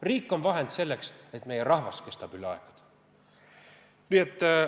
Riik on vahend selleks, et meie rahvas jääks kestma.